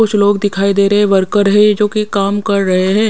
कुछ लोग दिखाई दे रहे हैं वर्कर है जोकि काम कर रहे हैं ।